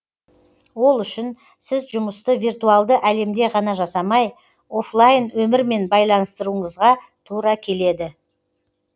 ол үшін сіз жұмысты виртуалды әлемде ғана жасамай оффлайн өмірмен байланыстыруығызға тура келеді